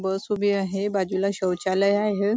बस उभी आहे बाजूला शौचालय आहे.